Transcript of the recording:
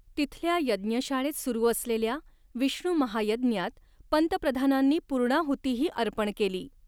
तिथल्या यज्ञशाळेत सुरू असलेल्या विष्णू महायज्ञात पंतप्रधानांनी पूर्णाहुतीही अर्पण केली.